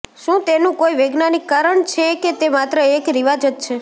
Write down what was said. શું તેનું કોઈ વૈજ્ઞાનિક કારણ છે કે તે માત્ર એક રિવાજ જ છે